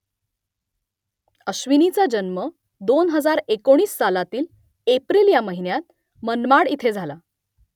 अश्विनीचा जन्म दोन हजार एकोणीस सालातील एप्रिल या महिन्यात मनमाड इथे झाला